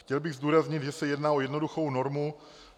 Chtěl bych zdůraznit, že se jedná o jednoduchou normu.